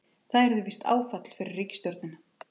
Það yrði visst áfall fyrir ríkisstjórnina